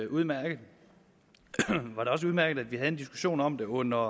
udmærket at vi havde en diskussion om det under